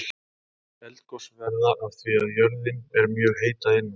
Eldgos verða af því að jörðin er mjög heit að innan.